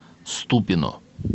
ступино